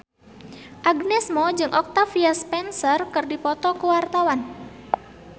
Agnes Mo jeung Octavia Spencer keur dipoto ku wartawan